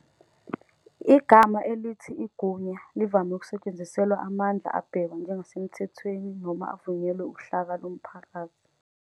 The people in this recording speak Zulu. Igama elithi "igunya" livame ukusetshenziselwa amandla abhekwa njengasemthethweni noma avunyelwe uhlaka lomphakathi.